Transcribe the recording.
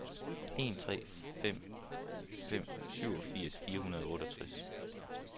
en tre fem fem syvogfirs fire hundrede og otteogtres